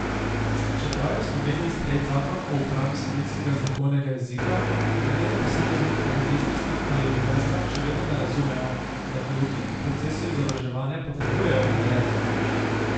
Čeprav je v Sloveniji sprejet zakon o uporabi slovenskega znakovnega jezika, nekateri posamezniki na ministrstvih ali univerzah še vedno ne razumejo, da gluhi pri procesu izobraževanja potrebujejo ta jezik.